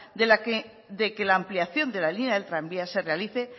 de la que la ampliación de la línea del tranvía se realice